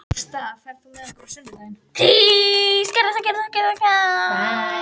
Gústav, ferð þú með okkur á sunnudaginn?